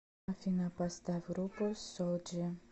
афина поставь группу соулджи